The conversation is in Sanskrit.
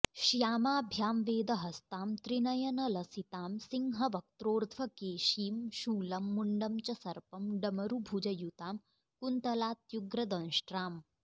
श्यामाभ्यां वेदहस्तां त्रिनयनलसितां सिंहवक्त्रोर्ध्वकेशीं शूलं मुण्डं च सर्पं डमरूभुजयुतां कुन्तलात्युग्रदंष्ट्ऱाम्